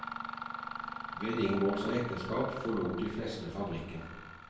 Ved inngåelse av ekteskap forlot de fleste fabrikken.